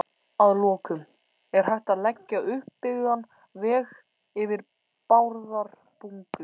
Að lokum: Er hægt að leggja uppbyggðan veg yfir Bárðarbungu?